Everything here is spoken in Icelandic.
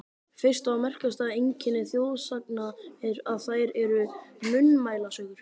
Fyrsta og merkasta einkenni þjóðsagna er, að þær eru munnmælasögur.